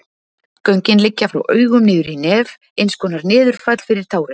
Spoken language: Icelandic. Göngin liggja frá augum niður í nef, eins konar niðurfall fyrir tárin.